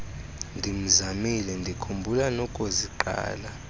ndimzamile ndikhumbula nokuziqala